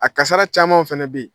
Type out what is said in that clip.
A kasara camanw fɛnɛ be ye.